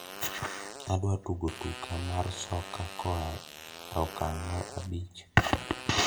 adwa tugo tuka mar soka koa e okang mar abich